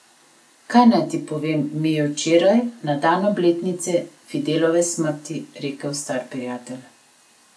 Kaj naj ti povem, mi je včeraj, na dan obletnice Fidelove smrti rekel star prijatelj.